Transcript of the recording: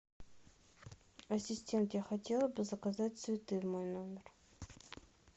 ассистент я хотела бы заказать цветы в мой номер